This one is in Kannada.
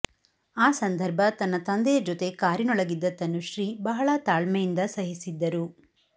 ಆ ಸಂದರ್ಭ ತನ್ನ ತಂದೆಯ ಜೊತೆ ಕಾರಿನೊಳಗಿದ್ದ ತನುಶ್ರೀ ಬಹಳ ತಾಳ್ಮೆಯಿಂದ ಸಹಿಸಿದ್ದರು